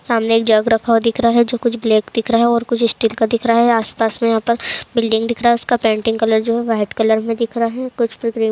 सामने एक जग रखा हुआ दिख रहा है जो कुछ ब्लैक दिख रहा है और कुछ स्टील का दिख रहा है। आस-पास में यहाँ पर बिल्डिंग दिख रहा है उसका पेंटिंग कलर जो है व्हाइट कलर में दिख रहा है कुछ पर ग्रीन --